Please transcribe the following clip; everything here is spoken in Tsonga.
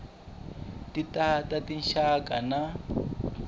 ti ta ta rixaka na